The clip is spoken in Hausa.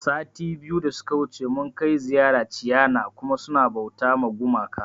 Sati biyu da suka wuce mun kai ziyara ciana kuma suna bauta ma gumaka